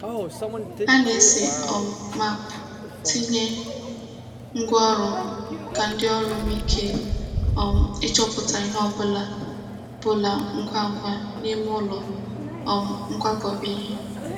Ha na-ese um maapụ ntinye ngwá ọrụ ka ndị ọrụ nwee ike um ịchọta ihe ọ bụla bụla ngwa ngwa n'ime ụlọ um nkwakọba ihe.